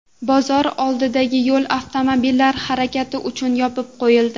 Bozor oldidagi yo‘l avtomobillar harakati uchun yopib qo‘yildi.